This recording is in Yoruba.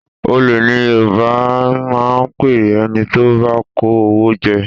Olè ni Yorùbá máa ń pe ẹni tí ó bá kó owó jẹ